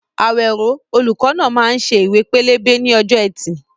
Awero, olùkọ́ náà, máa ń ṣe ìwé ìpele ní ọjọ́ Ẹtì.